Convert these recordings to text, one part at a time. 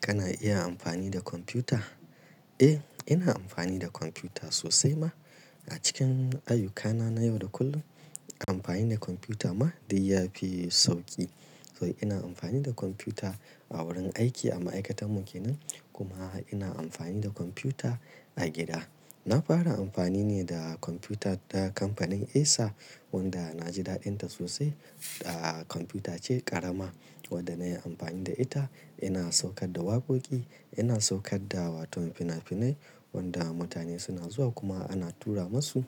Kana iya amfani da kwamfuta? Eh, ina amfani da kwamfuta sosai ma. A cikin ayyukana na yau da kullum, amfani da kwamfuta ma dai yafi sauƙi. To ina amfani da kwamfuta a wurin aiki, a ma'aikatar mu kenan, kuma ina amfani da kwamfuta a gida. Na fara amfani ne da kwamfuta ta kamfanin Acer wanda na ji daɗinta sosai. Kwamfutace ƙarama wadda na yi amfani da ita ina saukar da wakoki, ina saukar da wato fina-finai wanda mutane suna zuwa kuma ana tura masu,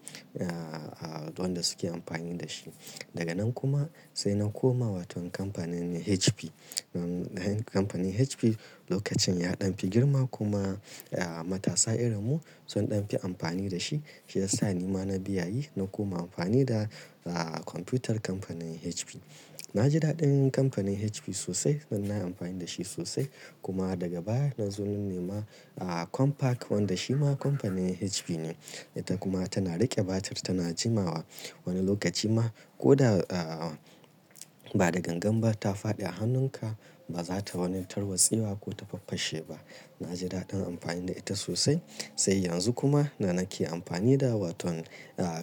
wanda suke amfani da shi. Daga nan kuma sai na koma wato kamfanin ne HP. Kamfanin HP lokacin ya ɗan fi girma, kuma matasa irin mu sun ɗan fi amfani da shi. Shi ya sa ni ma na biyayyi na koma amfani da, kwamfutar kamfanin HP. Na ji daɗin kamfanin HP sosai don na yi amfani da shi sosai, kuma daga baya na zo na nema Compaq wanda shi ma kamfanin HP ne. Ita kuma tana riƙe batir tana jimawa. Wani lokaci ma koda ba da gangan ba ta faɗi a hannunka ba za ta wani tarwatse ba ko ta faffashe ba. Na ji daɗin amfani da ita sosai. Sai yanzu kuma da nake amfani da wato,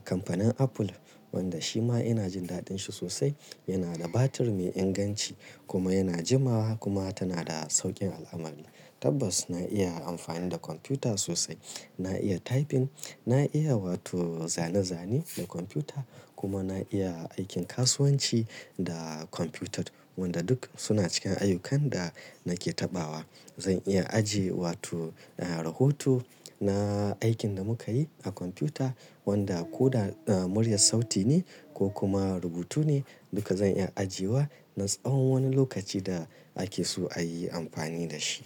kamfanin Apple wanda shi ma ina jin daɗin shi sosai. Yana da batir mai inganci kuma yana jimawa kuma tana da sauƙin al'amala. Tabbas na iya amfani da kwamfuta sosai. Na iya typing, na iya wato zane-zane da kwamfuta, kuma na iya aikin kasuwanci da kwamfuta, wanda duk suna cikin ayyukan da nake taɓawa. Zan iya ajiye wato rahoto na aikin da muka yi a kwamfuta, wanda ko da murya sauti ne, ko kuma rubutu ne, duka zan iya ajiyewa na tsawon wani lokaci da ake so ayi amfani da shi.